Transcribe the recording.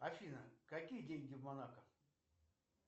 афина какие деньги в монако